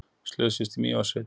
Slösuðust í Mývatnssveit